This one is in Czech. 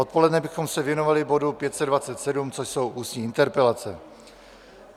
Odpoledne bychom se věnovali bodu 527, což jsou ústní interpelace.